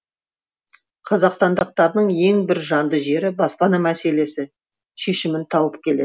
қазақстандықтардың ең бір жанды жері баспана мәселесі шешімін тауып келеді